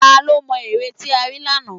Tá ló mo ère tí a rí lánàá?